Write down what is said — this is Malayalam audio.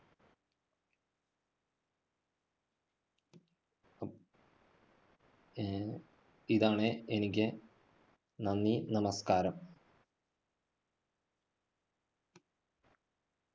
ആഹ് ഇതാണ് എനിക്ക് നന്ദി, നമസ്കാരം.